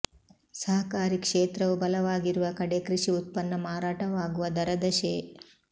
ಸಹಕಾರಿ ಕ್ಷೇತ್ರವು ಬಲವಾಗಿರುವ ಕಡೆ ಕೃಷಿ ಉತ್ಪನ್ನ ಮಾರಾಟವಾಗುವ ದರದ ಶೇ